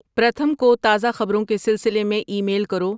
پرتھم کو تازہ خبروں کے سلسلے میں ای میل کرو